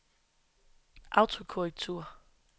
autokorrektur